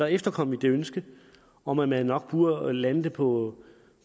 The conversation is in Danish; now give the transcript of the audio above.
efterkom vi det ønske om at man nok burde lande det på